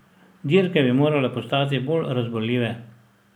Dirke bi morale postati bolj razburljive.